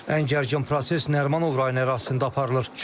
Ən gərgin proses Nərimanov rayonu ərazisində aparılır.